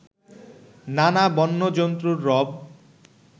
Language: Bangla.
নানা বন্য জন্তুর রব